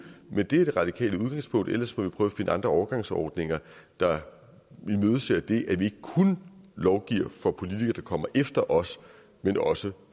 men det er det radikale udgangspunkt ellers må vi prøve at finde andre overgangsordninger der imødeser det at vi ikke kun lovgiver for politikere der kommer efter os men også